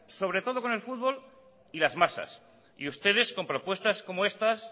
sobre todo con el fútbol y las masas y ustedes con propuestas como estas